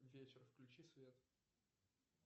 вечер включи свет